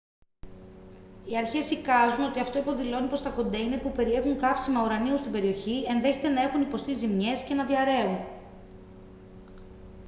οι αρχές εικάζουν ότι αυτό υποδηλώνει πως τα κοντέινερ που περιέχουν καύσιμα ουρανίου στην περιοχή ενδέχεται να έχουν υποστεί ζημιές και να διαρρέουν